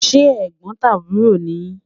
se Ẹ̀gbótàbúrọ̀ ni yi?